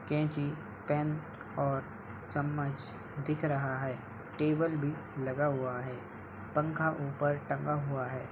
कैंची पेन और चम्मच दिख रहा है। टेबल भी लगा हुआ है। पंखा ऊपर टंगा हुआ है।